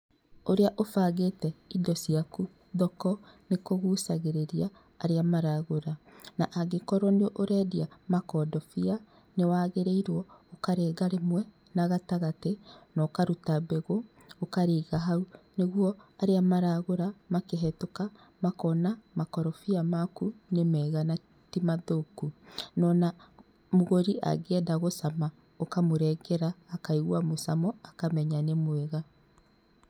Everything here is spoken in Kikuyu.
Ũrĩa ũbangĩte indo ciaku thoko, nĩkũgucagĩrĩria arĩa maragũra. Na angĩkorwo nĩ ũrendia mokondobia, nĩwagĩrĩirwo ũkarenga rĩmwe na gatagatĩ, nokaruta mbegũ, ũkarĩiga hau, nĩguo arĩa maragũra, makĩhetũka, makona makorobia maku nĩmega na timathũkũ. Nona mũgũri angĩenda gũcama ũkamũrengera akaigwa mũcamo, akamenya nĩmwega.